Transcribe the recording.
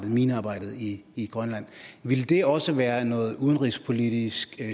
minearbejdet i i grønland ville det også være noget udenrigspolitisk